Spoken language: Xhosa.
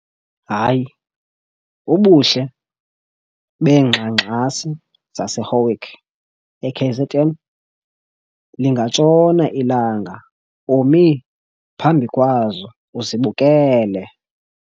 Hayi ubuhle beengxangxasi zaseHowick eKZN, lingatshona ilanga umi phambi kwazo uzibukele!